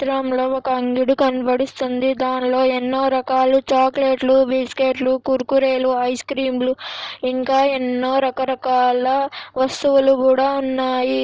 ఒక అంగడి కనపడుస్తుంది. దానిలో ఎన్నో రకాలు చాక్లెట్లు బిస్కెట్లు కుర్ కురులు ఐస్ క్రీములు ఇంకా ఎన్నో రక రకాల వస్తువులు కూడా ఉన్నాయి.